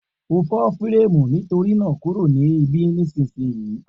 O fo fírẹ́mù nítorínà kúrò ní ibí nísìsiyìí